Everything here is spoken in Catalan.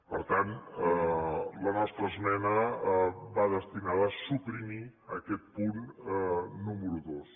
per tant la nostra esmena va destinada a suprimir aquest punt número dos